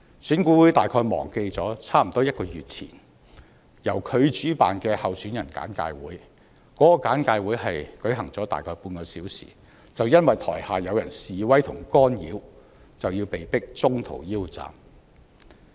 選管會大概忘記了差不多1個月前由它主辦的候選人簡介會，只舉行了大概半小時，就因為台下有人示威和干擾，被迫中途腰斬。